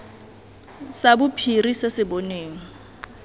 sa bophiri se se bonweng